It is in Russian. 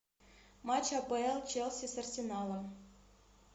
матч апл челси с арсеналом